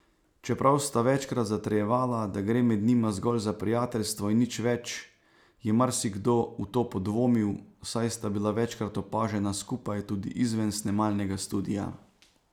Čeprav sta večkrat zatrjevala, da gre med njima zgolj za prijateljstvo in nič več, je marsikdo v to podvomil, saj sta bila večkrat opažena skupaj tudi izven snemalnega studia.